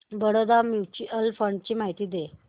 Baroda mutual fund ची माहिती दे